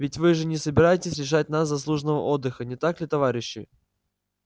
ведь вы же не собираетесь лишать нас заслуженного отдыха не так ли товарищи